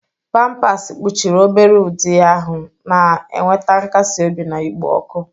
Pampasi kpuchiri obere ụdị ahụ, na-enweta nkasi obi na ikpo ọkụ.